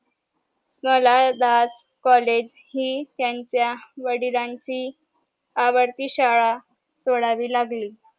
Das college हि त्यांच्या वडिलांची आवडती शाळा सोडावी लागली